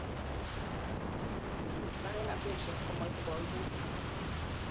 alak en adhesions komoibu koimutik